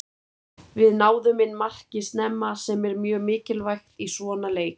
Við náðum inn marki snemma sem er mjög mikilvægt í svona leik.